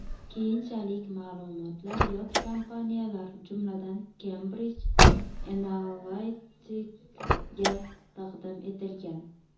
Keyinchalik ma’lumotlar yot kompaniyalar, jumladan Cambridge Analytica’ga taqdim etilgan.